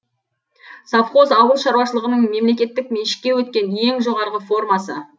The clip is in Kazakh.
совхоз ауыл шаруашылығының мемлекеттік меншікке өткен ең жоғарғы формасы